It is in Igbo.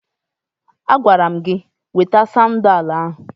Agwara m gị weta sadin ahụ!